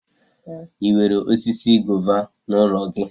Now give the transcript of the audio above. Ị nwere osisi gova n'ụlọ gị?